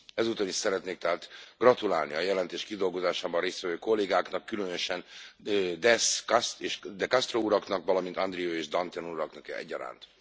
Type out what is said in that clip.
Ezúton is szeretnék tehát gratulálni a jelentés kidolgozásában részt vevő kollégáknak, különösen Dess, de Castro uraknak, valamint Andrieu és Dantin uraknak egyaránt.